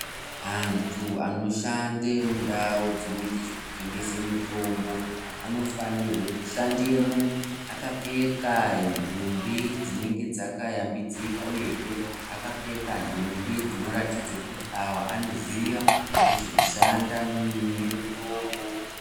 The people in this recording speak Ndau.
Antu anoshanda mundau dzinoita zvekutengese mutombo anofanira kushandemo akapfeka ndumbi dzinenge dzakayambidzika akapfeka ndumbi dzinoratidza kuti anoziya nezvekushanda mune mutombo .